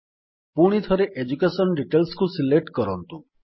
ପୁଣିଥରେ ଏଡୁକେସନ Detailsକୁ ସିଲେକ୍ଟ କରନ୍ତୁ